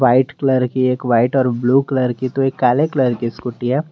White colour की एक white और ब्लू कलर की तो एक काले कलर की स्कूटी है।